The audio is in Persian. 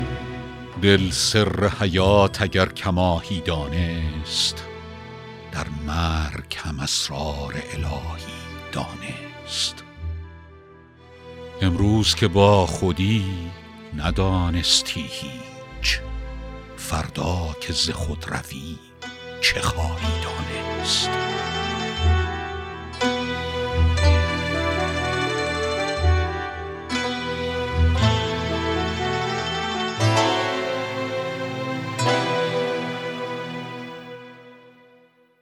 دل سر حیات اگر کماهی دانست در مرگ هم اسرار الهی دانست امروز که با خودی ندانستی هیچ فردا که ز خود روی چه خواهی دانست